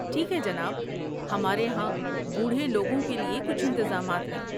ٹھیک ہے جناب۔ ہمارے ہاں بوڑھے لوگوں کے لیے کچھ انتظامات ہیں۔